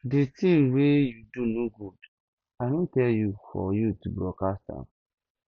the thing wey you do no good i no tell you for you to broadcast am